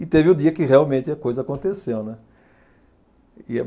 E teve o dia que realmente a coisa aconteceu, né. E a